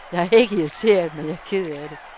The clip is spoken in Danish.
Jeg er ikke irriteret, men jeg er ked af det.